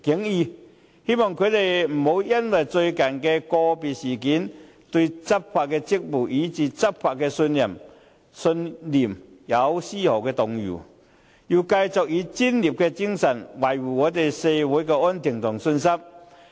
我希望他們不要因最近發生的個別事件，對執法職責，以至執法的信念，出現絲毫動搖，而能夠繼續以專業精神，維護社會安定和市民的信心。